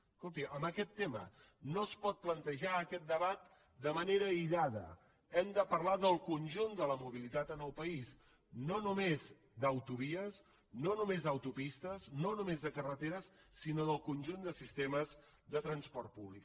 escolti en aquest tema no es pot plantejar aquest debat de manera aïllada hem de parlar del conjunt de la mobilitat en el país no només d’autovies no només d’autopistes no només de carreteres sinó del conjunt de sistemes de transport públic